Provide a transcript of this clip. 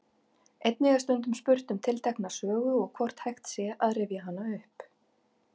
Einnig er stundum spurt um tiltekna sögu og hvort hægt sé að rifja hana upp.